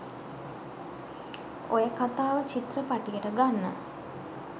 ඔය කතාව චිත්‍රපටියට ගන්න